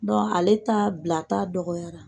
ale ta bilata dɔgɔyara.